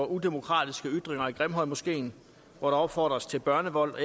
udemokratiske ytringer i grimhøjmoskeen hvor der opfordres til børnevold og